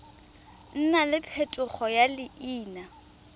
nna le phetogo ya leina